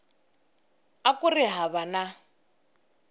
a ku ri hava na